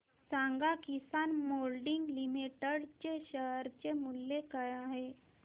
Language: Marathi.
सांगा किसान मोल्डिंग लिमिटेड चे शेअर मूल्य काय आहे